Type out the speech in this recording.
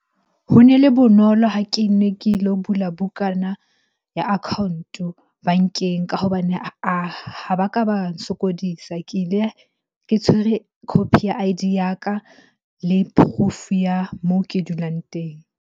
Ho ne le bonolo ha ke ne ke lo bula bukana ya account-o bankeng ka hobane ha ba ka ba sokodisa. Ke ile ke tshwere copy ya I_D ya ka le proof-o ya moo ke dulang teng.